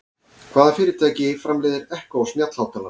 Hvaða fyrirtæki framleiðir Echo snjallhátalarann?